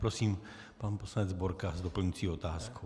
Prosím, pan poslanec Borka s doplňující otázkou.